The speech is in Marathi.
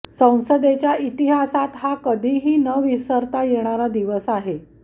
संसदेच्या इतिहासात हा कधीही न विसरता येणारा दिवस आहे